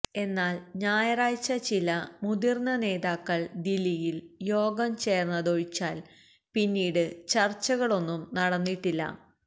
എന്നാൽ ഞായറാഴ്ച ചില മുതിര്ന്ന നേതാക്കള് ദില്ലിയില് യോഗം ചേര്ന്നതൊഴിച്ചാല് പിന്നീട് ചര്ച്ചകളൊന്നും നടന്നിട്ടില്ല